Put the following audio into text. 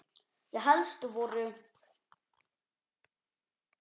Þau helstu voru